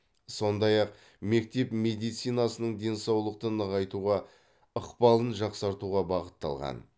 сондай ақ мектеп медицинасының денсаулықты нығайтуға ықпалын жақсартуға бағытталған